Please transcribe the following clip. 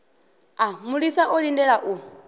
a mulisa o lindela u